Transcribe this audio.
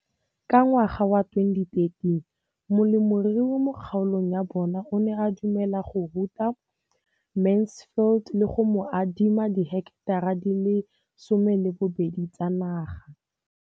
Ka ngwaga wa 2013, molemirui mo kgaolong ya bona o ne a dumela go ruta Mansfield le go mo adima di heketara di le 12 tsa naga.